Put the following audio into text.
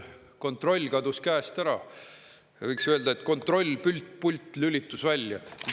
Kontroll kadus käest ära, võiks öelda, et kontrollpult lülitus välja.